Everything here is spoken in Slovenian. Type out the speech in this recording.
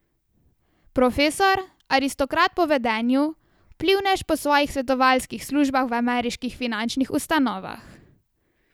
Profesor, aristokrat po vedenju, vplivnež po svojih svetovalskih službah v ameriških finančnih ustanovah.